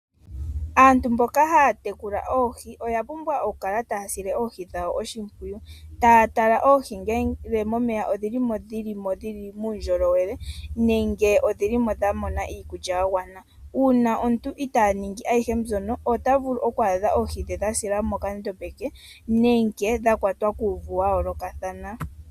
Aantu mboka haya tekula oohi oya pumbwa okukala taya sile oohi dhawo oshimpwiyu, taya tala oohi ngele momeya odhilimo dhili muundjolowele nenge odhilimo dha mona iikulya ya gwana, uuna omuntu ita ningi ayihe mbyono ota vulu oku adha oohi dhe dha sila mokandombe ke nenge dha kwatwa kuuvu wa yoolokathana.